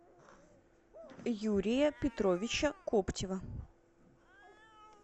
юрия петровича коптева